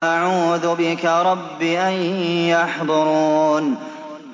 وَأَعُوذُ بِكَ رَبِّ أَن يَحْضُرُونِ